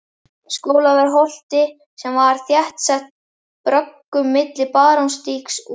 Skólavörðuholti sem var þéttsett bröggum milli Barónsstígs og